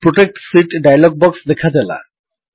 protect sheet dialog box ଦେଖାଦେଲା